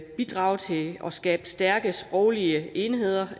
bidrage til at skabe stærke sproglige enheder